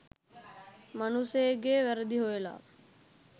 මනුස්සයෙක්ගෙ වැරදි හොයල